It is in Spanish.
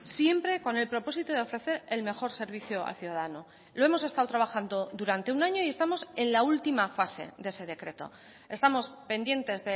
siempre con el propósito de ofrecer el mejor servicio al ciudadano lo hemos estado trabajando durante un año y estamos en la última fase de ese decreto estamos pendientes